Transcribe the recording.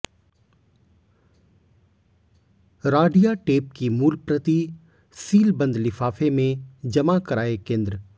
Radia tape की मूल प्रति सीलबंद लिफाफे में जमा कराये केंद्र